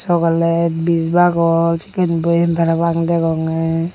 cogolese bij bagosh sekken boyem parapang degonge.